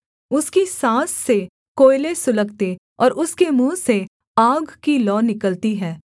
उसकी साँस से कोयले सुलगते और उसके मुँह से आग की लौ निकलती है